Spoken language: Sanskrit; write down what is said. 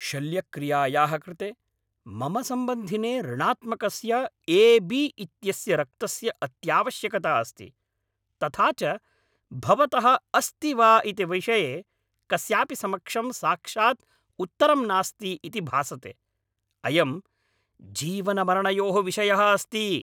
शल्यक्रियायाः कृते मम सम्बन्धिने ऋणात्मकस्य ए. बी.इत्यस्य रक्तस्य अत्यावश्यकता अस्ति, तथा च भवतः अस्ति वा इति विषये कस्यापि समक्षं साक्षात् उत्तरं नास्ति इति भासते। अयं जीवनमरणयोः विषयः अस्ति!